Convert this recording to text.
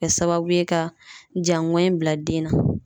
Kɛ sababu ye ka jaŋɔni bila den na.